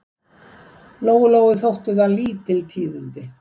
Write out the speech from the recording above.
Lóu-Lóu þóttu það lítil tíðindi.